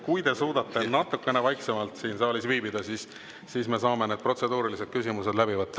Kui te suudate siin saalis natukene vaiksemalt viibida, siis saame need protseduurilised küsimused läbi võtta.